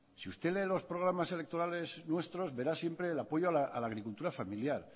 si usted lee los programas electorales nuestros verá siempre el apoyo a la agricultura familiar